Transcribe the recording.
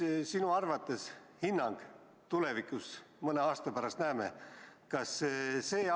Mida me sinu arvates tulevikus, mõne aasta pärast näeme?